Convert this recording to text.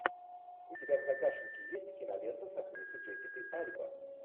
у тебя в загашнике есть кинолента с актрисой джессикой альба